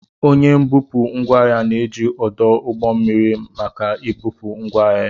Onye mbupụ ngwaahia na-eji ọdụ ụgbọ mmiri maka mbupụ ngwaahịa ya.